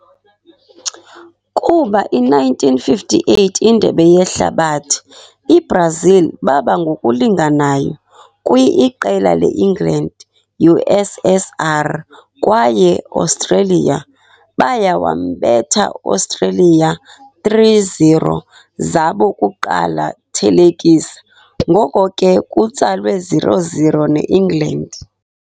Kuba i - 1958 Indebe Yehlabathi, i-Brazil baba ngokulinganayo! kwi-iqela ne England, USSR kwaye Austria. Baya wambetha Austria 3-0 zabo kuqala thelekisa, ngoko ke kutsalwe 0-0 ne England.